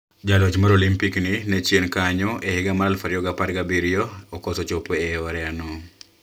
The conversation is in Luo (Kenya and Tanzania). Jaloch mar Olimpik ni ne chien kanyo e higa mar aluf ariyo gi apar gi abiriyo okoso chopo e oreya no